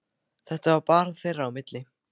Þetta var bara þeirra á milli.